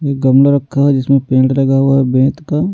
ये गमला रखा है जिसमें पेंट लगा हुआ है बेत का--